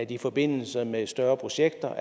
i forbindelse med større projekter